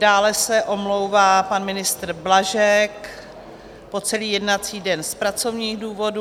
Dále se omlouvá pan ministr Blažek po celý jednací den z pracovních důvodů.